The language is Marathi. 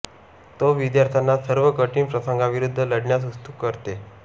तो विद्यार्थ्यांना सर्व कठीण प्रसंगांविरुद्ध लढण्यास उद्युक्त करते